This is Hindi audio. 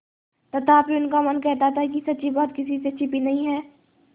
तथापि उनका मन कहता था कि सच्ची बात किसी से छिपी नहीं है